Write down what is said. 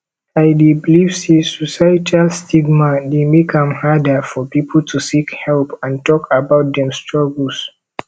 i dey believe say societal stigma dey make am harder for people to seek help and talk about dem struggles